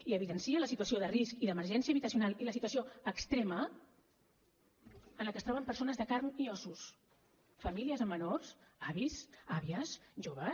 i evidencia la situació de risc i d’emergència habitacional i la situació extrema en la que es troben persones de carn i ossos famílies amb menors avis àvies joves